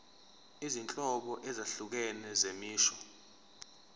izinhlobo ezahlukene zemisho